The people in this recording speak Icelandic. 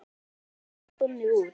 Og víst lítur það þannig út.